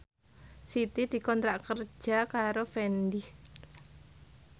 Siti dikontrak kerja karo Fendi